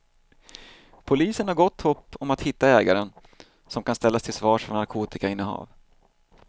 Polisen har gott hopp om att hitta ägaren som kan ställas till svars för narkotikainnehav.